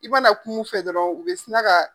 I mana kuma u fɛ dɔrɔn u be sinaka